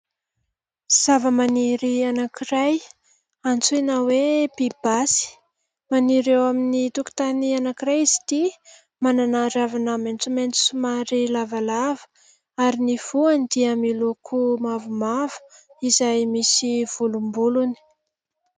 sava-maniry anankiray antsoina hoe mpibasy maniry eo amin'ny tokotany anankiray izy ty manana ravina maintsomainty somary lavalava ary ny foany dia miloako mavomavo izay misy volombolony